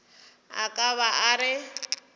a ka ba a re